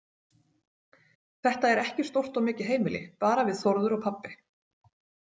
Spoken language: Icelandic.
Þetta er ekki stórt og mikið heimili, bara við Þórður og pabbi.